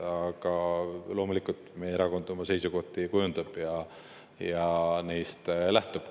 Aga loomulikult meie erakond oma seisukohti kujundab ja neist lähtub.